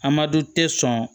Amadu tɛ sɔn